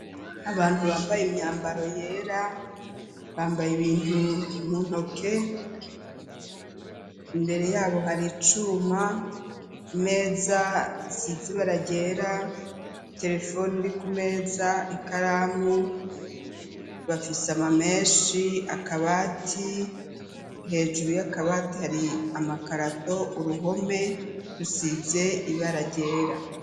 Abantu bambaye imyambaro yera , bambaye ibintu mu ntoke , imbere yabo hari icuma, imeza isize ibara ryera ,iterefone iri kumeza, ikaramu. Ifise amameshi, akabati, hejuru y'akabati hari amakarato ,uruhome rusize ibara ryera .